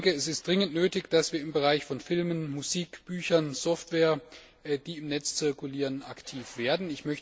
Es ist dringend nötig, dass wir im Bereich von Filmen, Musik, Büchern, Software, die im Netz zirkulieren, aktiv werden.